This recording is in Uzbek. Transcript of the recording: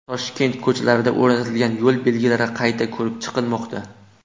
Toshkent ko‘chalarida o‘rnatilgan yo‘l belgilari qayta ko‘rib chiqilmoqda.